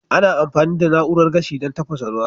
Ana amfani da na'urar gashi don tafasa ruwa.